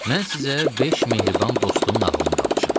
Mən sizə beş mehriban dostun nağılını danışım.